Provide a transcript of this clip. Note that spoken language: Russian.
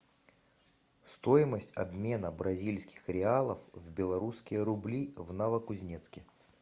стоимость обмена бразильских реалов в белорусские рубли в новокузнецке